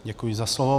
Děkuji za slovo.